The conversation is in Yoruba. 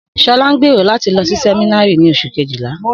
Sọlá ń gbèrò láti lọ sí sẹ̀mínárì ni Oṣù kejìlá